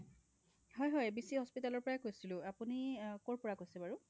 হয় হয় , abc hospital ৰ পৰাই এ কৈছিলো আপুনি